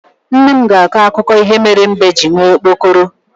Nne m ga-akọ akụkọ ihe mere mbe ji nwee okpokoro